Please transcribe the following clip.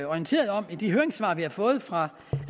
orienteret om i de høringssvar vi har fået fra